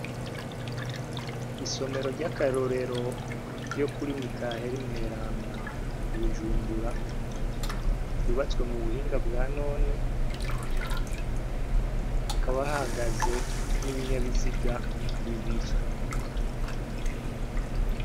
Isomero ry'akarorero ryo kuri Mikaheli mweranda i Bujumbura, ryubatswe mu buhinga bwa none hakaba hahaze n'ibinyabiziga bibiri.